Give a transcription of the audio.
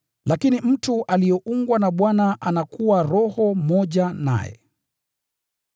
Lakini mtu aliyeungwa na Bwana anakuwa roho moja naye.